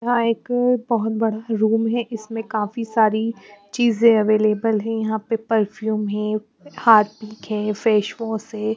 यहाँ एक बहुत बड़ा रूम है इसमें काफी सारी चीजें अवेलेबल है यहाँ पे परफ्यूम है हार्पिक है फेस वॉश है।